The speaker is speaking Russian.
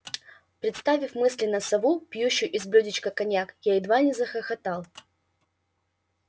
представив мысленно сову пьющую из блюдечка коньяк я едва не захохотал